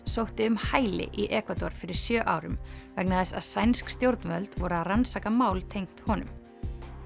sótti um hæli í Ekvador fyrir sjö árum vegna þess að sænsk stjórnvöld voru að rannsaka mál tengt honum